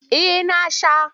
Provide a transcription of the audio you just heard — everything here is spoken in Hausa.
Eh na sha.